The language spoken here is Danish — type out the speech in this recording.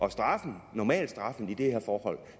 at straffen normalstraffen i de her forhold